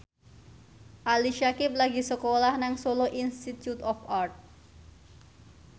Ali Syakieb lagi sekolah nang Solo Institute of Art